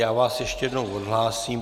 Já vás ještě jednou odhlásím.